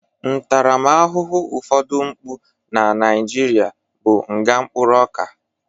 Ntarama ahụhụ ụfodụ mpụ na Nigeria bụ nga mkpụrụ ọka